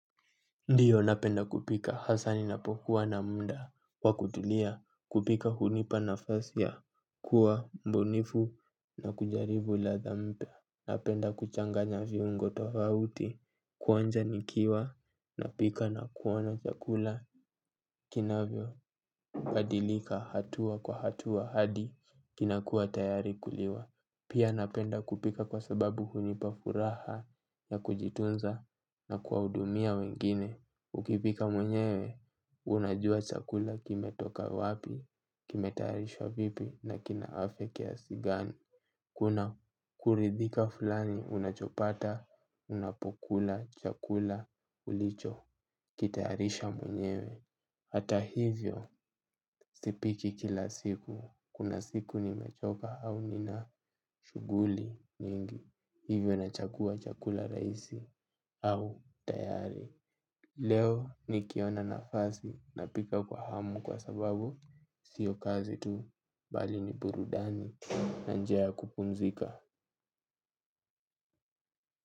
Ndiyo napenda kupika hasa ninapokuwa na muda wa kutulia kupika hunipa nafasi ya kuwa mbunifu na kujaribu ladha mpya. Napenda kuchanganya viungo tofauti kuonja nikiwa na pika na kuona chakula kinavyo badilika hatua kwa hatua hadi kinakua tayari kuliwa. Pia napenda kupika kwa sababu hunipa furaha na kujitunza na kuwahudumia wengine. Ukipika mwenyewe, unajua chakula kime toka wapi, kime tayarishwa vipi na kina afya kiasigani. Kuna kuridhika fulani, unachopata, unapokula, chakula, ulicho, kitayarisha mwenyewe. Hata hivyo, sipiki kila siku, kuna siku nimechoka au nina shuguli nyingi hivyo na chagua chakula raisi au tayari. Leo nikiona nafasi napika kwa hamu kwa sababu sio kazi tu bali ni burudani na njia ya kupunzika.